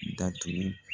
Datugu